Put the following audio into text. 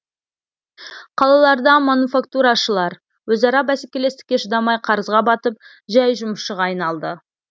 қалаларда монуфактурашылар өзара бәсекелестікке шыдамай қарызға батып жай жұмысшыға айналды